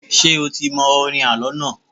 Ṣé o ti mọ orin àlọ́ náà?